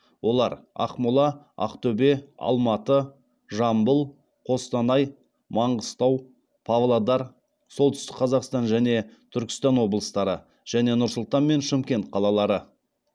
олар ақмола ақтөбе алматы жамбыл қостанай маңғыстау павлодар солтүстік қазақстан және түркістан облыстары және нұр сұлтан мен шымкент қалалары